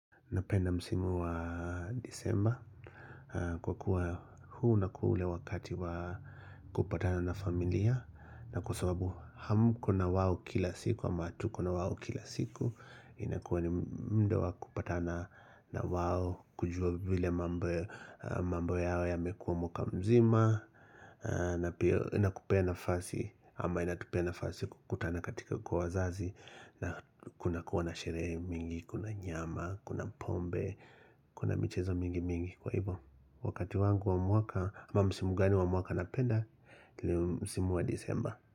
Napenda msimu wa Disemba kwa kuwa huu unakuwa ule wakati wa kupatana na familia na kwa sababu hamko na wao kila siku ama hatuko na wao kila siku inakuwa ni muda wa kupatana na wao kujua vile mambo yao yamekuwa mwaka mzima. Na pia inakupea nafasi ama inatupea nafasi kukutana katika kwa wazazi. Na kunakuwa na sherehe mingi. Kuna nyama, kuna pombe Kuna michezo mingi mingi Kwa hivyo, wakati wangu wa mwaka ama msimu gani wa mwaka napenda ni msimu wa Disemba.